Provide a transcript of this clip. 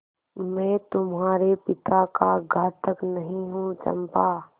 मैं तुम्हारे पिता का घातक नहीं हूँ चंपा